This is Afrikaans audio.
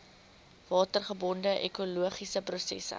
watergebonde ekologiese prosesse